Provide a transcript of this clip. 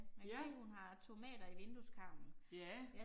Ja. Ja